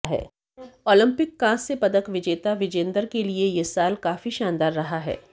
Olympic कांस्य पदक विजेता विजेंदर के लिए यह साल काफी शानदार रहा है